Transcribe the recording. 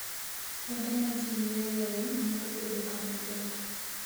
Kuonde ma ji yueyoe nyalo bedo kama ber.